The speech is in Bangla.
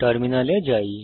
টার্মিনালে যাই